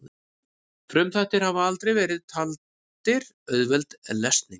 frumþættir hafa aldrei verið taldir auðveld lesning